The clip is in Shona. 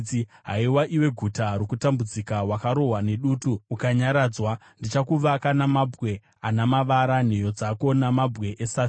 “Haiwa, iwe guta rokutambudzika wakarohwa nedutu ukasanyaradzwa, ndichakuvaka namabwe ana mavara, nheyo dzako namabwe esafire.